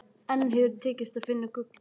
Engum hefur tekist að finna gullið.